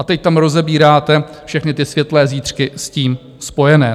A teď tam rozebíráte všechny ty světlé zítřky s tím spojené.